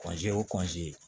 o